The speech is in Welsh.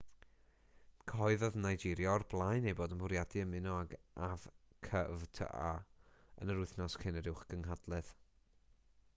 cyhoeddodd nigeria o'r blaen ei bod yn bwriadu ymuno ag afcfta yn yr wythnos cyn yr uwchgynhadledd